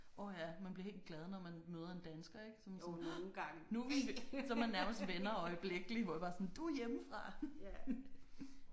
Åh ja man bliver helt glad når man møder en dansker ik så er man sådan nu er vi så er man nærmest venner øjeblikkelig hvor jeg bare sådan du er hjemmefra